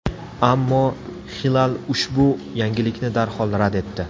Ammo Xilal ushbu yangilikni darhol rad etdi.